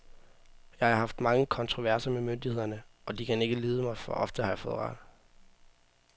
Jeg har haft mange kontroverser med myndighederne, og de kan ikke lide mig, for ofte har jeg fået ret.